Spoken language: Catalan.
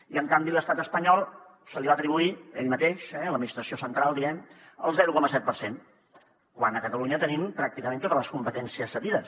i en canvi a l’estat espanyol se li va atribuir ell mateix l’administració central diguem ne el zero coma set per cent quan a catalunya tenim pràcticament totes les competències cedides